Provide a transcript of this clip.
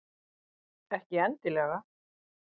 Ekki endilega.